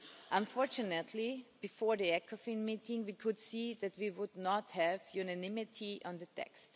Unfortunately, before the Ecofin meeting, we could see that we would not have unanimity on the text.